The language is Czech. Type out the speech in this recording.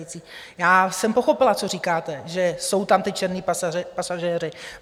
Já jsem pochopila, co říkáte, že jsou tam ti černí pasažéři.